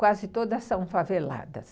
Quase todas são faveladas.